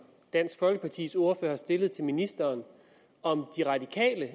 dansk folkepartis ordfører stillede til ministeren om de radikale